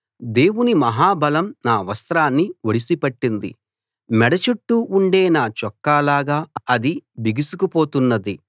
దేవుని మహా బలం నా వస్త్రాన్ని ఒడిసి పట్టింది మెడ చుట్టూ ఉండే నా చొక్కాలాగా అది బిగుసుకు పోతున్నది